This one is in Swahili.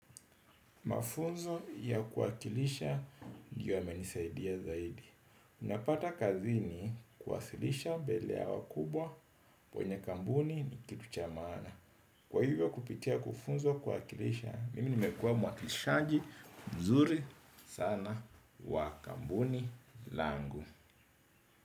Mafunzo ya kuwakilisha ndiyo yamenisaidia zaidi. Unapata kazini kuwasilisha mbele ya wakubwa wenye kambuni nikitu cha maana. Kwa hivyo kupitia kufunzwa kuwakilisha, mimi nimekuwa mwakilishaji mzuri sana wa kampuni langu.